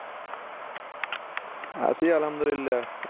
আছি আলহামদুল্লাহ